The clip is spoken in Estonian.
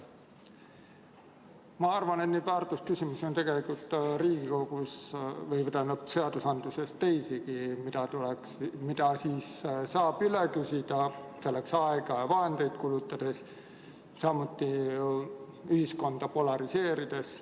Ma arvan, et väärtusküsimusi on seadustes teisigi, mida saab üle küsida, selleks aega ja vahendeid kulutades, samuti ühiskonda polariseerides.